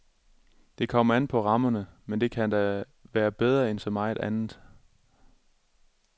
Det kommer an på rammerne, men det kan da være bedre end så meget andet.